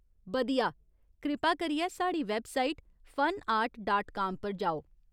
बधिया ! कृपा करियै साढ़ी वैबसाइट फनआर्ट डाट काम पर जाओ।